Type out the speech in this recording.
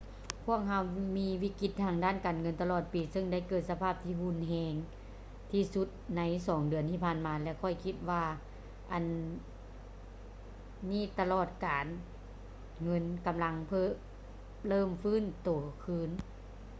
ພວກເຮົາມີວິກິດການທາງດ້ານການເງິນຕະຫຼອດປີ ເຊິ່ງໄດ້ເກີດສະພາບທີ່ຮຸນແຮງທີ່ສຸດໃນສອງເດືອນທີ່ຜ່ານມາ ແລະ ຂ້ອຍຄິດວ່າອນນີ້ຕະຫຼາດການເງິນກຳລັງເລີ່ມຟື້ນໂຕຄືນ